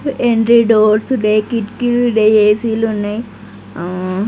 Entry doors డే కిటికీలు డే ఏ_సి లు ఉన్నాయి. ఆ-ఆ --